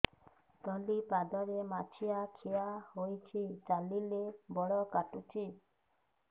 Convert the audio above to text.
ତଳିପାଦରେ ମାଛିଆ ଖିଆ ହେଇଚି ଚାଲିଲେ ବଡ଼ କାଟୁଚି